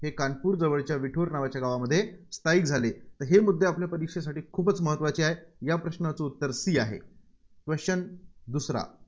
कानपूर जवळच्या विठूर नावाच्या गावामध्ये स्थायिक झाले. हे मुद्दे आपल्या परीक्षेसाठी खूपच महत्त्वाचे आहेत. या प्रश्नाचं उत्तर C आहे. Question दुसरा.